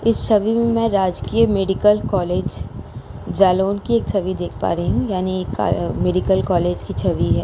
इस छवि में राजकीय मेडिकल कॉलेज जालोन की एक छवि देख पा रही हूँ| यानी का मेडिकल कॉलेज की छवि है।